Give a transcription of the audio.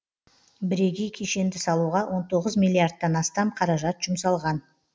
бірегей кешенді салуға он тоғыз миллиардтан астам қаражат жұмсалған